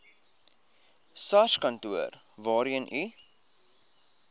sarskantoor waarheen u